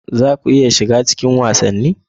Za ku iya shiga cikin wasanni?